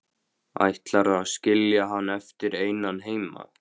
Ætlarðu að skilja hann eftir einan heima?